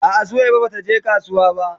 A'a Suwaiba bata je kasuwa ba.